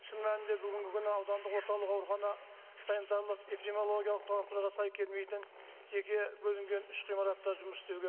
шын мәнінде бүгінгі күні аудандық орталық аурухана санитарлық эпидемиологиялық талаптарға сай келмейтін жеке бөлінген үш ғимаратта жұмыс істеуге